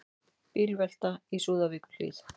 Bílvelta í Súðavíkurhlíð